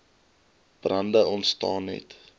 brande ontstaan net